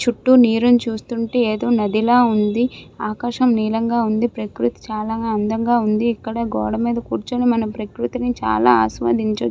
చుట్టూ నీరుని చూస్తుంటే ఏదో నదిలా ఉంది. ఆకాశం నీలం గా ఉంది. ప్రకృతి చాలా అందంగా ఇక్కడ గోడ మీద కూర్చుని మనం ప్రకృతిని చాలా ఆస్వాదించచ్చు.